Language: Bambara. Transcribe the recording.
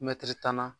Mɛtiri tan na